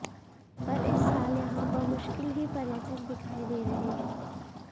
पर इस साल यहां बमुश्किल ही पर्यटक दिखाई दे रहे हैं